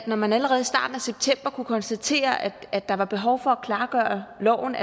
når man allerede i starten af september kunne konstatere at der var behov for at klargøre loven